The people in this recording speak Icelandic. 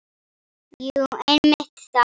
Jú, einmitt þar.